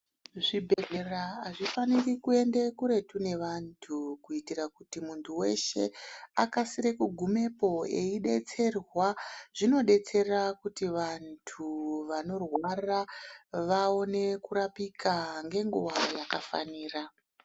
Zvibhedhlera hazvifaniri kuende kuretu nevantu kuitira kuti muntu weshe akasire kugumepo eidetserwaa. Zvinodetsera kuti vantu vanorwara vaone kurapika ngenguva yakafaniraa.